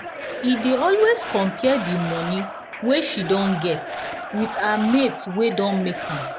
e dey always compare d money wey she don get with her mates wey don make am